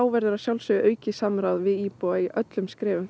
verður að sjálfsögðu aukið samráð við íbúa í öllum skrefum